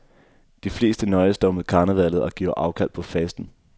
De fleste nøjes dog med karnevallet og giver afkald på fasten.